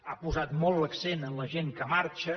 ha posat l’accent en la gent que marxa